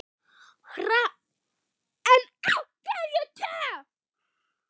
En af hverju te?